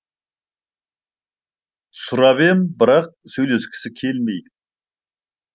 сұрап ем бірақ сөйлескісі келмейді